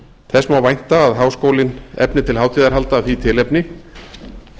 þess má vænta að háskólinn efni til hátíðarhalda af því tilefni það kemur þá í